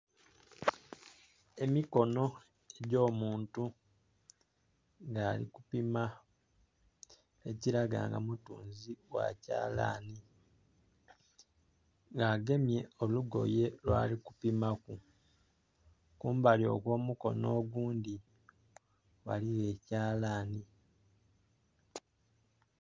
Emikono gy'omuntu nga ali kupima, ekiraga nga mutunzi gha kyalani. Nga agemye olugoye lwali kupimaku. Kumbali okw'omukono ogundhi, ghaligho ekyalani.